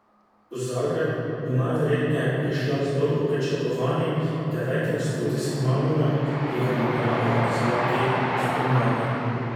V Zagreb bo najverjetneje prišla z dolgo pričakovanim devetim studijskim albumom, ki ga namerava izdati spomladi.